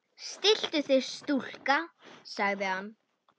Stilltu þig stúlka, sagði hann.